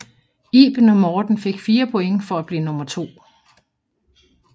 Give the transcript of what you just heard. Iben og Morten fik 4 point for at blive nummer to